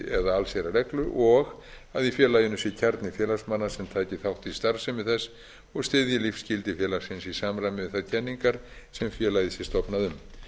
eða allsherjarreglu og að í félaginu sé kjarni félagsmanna sem taki þátt í starfsemi þess og styðja lífsgildi félagsins í samræmi við þær kenningar sem félagið sé stofnað um